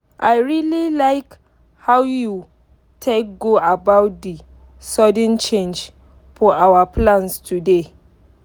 i really like how you take go about the sudden change for our plans today.